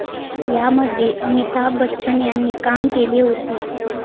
यामध्ये अमिताभ बच्चन यांनी काम केले होते.